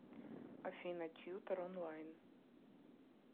афина тьютор онлайн